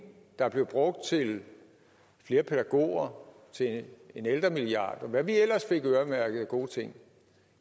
der blev brugt til flere pædagoger til en ældremilliard og hvad vi ellers fik øremærket af gode ting